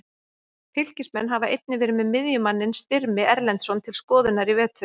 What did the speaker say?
Fylkismenn hafa einnig verið með miðjumanninn Styrmi Erlendsson til skoðunar í vetur.